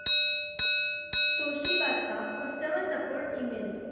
Toshiba चा customer support email